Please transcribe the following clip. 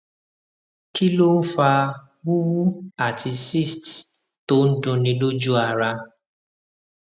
kí ló ń fa wuwu ati cyst to n dunni loju ara